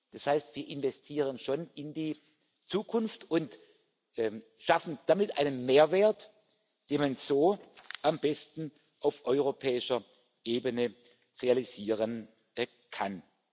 Das heißt, wir investieren schon in die Zukunft und schaffen damit einen Mehrwert, den man so am besten auf europäischer Ebene realisieren kann.